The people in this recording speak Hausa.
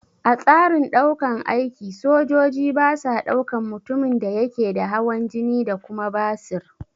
A tsarin ɗaukan aiki, sojoji basa ɗaukan mutumin da yake da hawan jini da kuma basir.